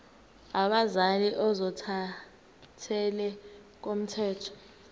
abazali ozothathele ngokomthetho